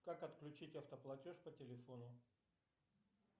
как отключить автоплатеж по телефону